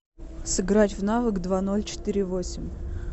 сыграть в навык два ноль четыре восемь